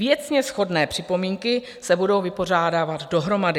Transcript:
Věcně shodné připomínky se budou vypořádávat dohromady.